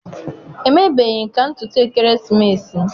Emebeghị m ka ntutu ekeresimesi m.